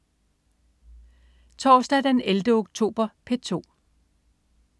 Torsdag den 11. oktober - P2: